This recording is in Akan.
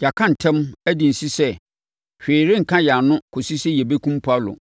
“Yɛaka ntam, adi nse sɛ hwee renka yɛn ano kɔsi sɛ yɛbɛkum Paulo.